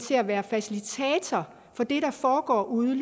til at være facilitator for det der foregår ude